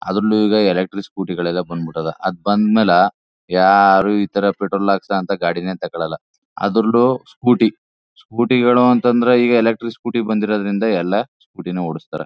ಅದ್ರಲ್ಲೂ ಈಗ electric scooty ಗಳಲೆ ಬಂದ್ಬಿಟ್ಟದ ಅದು ಬಂದ್ಮೇಲೆ ಯಾರು ಇತರ ಪೆಟ್ರೋಲ್ ಹಾಕಸಂತ ಗಾಡೀನೇ ತಗೊಳಲ . ಅದ್ರಲ್ಲೂ ಸ್ಕೂಟಿ ಸ್ಕೂಟಿ ಗಳು ಅಂತಂದ್ರೆ ಎಲೆಕ್ಟ್ರಿಕ್ ಸ್ಕೂಟಿ ಬಂದಿರೋದ್ರಿಂದ ಎಲ್ಲ ಸ್ಕೂಟಿ ನು ಹೊಡ್ಸತಾರೆ.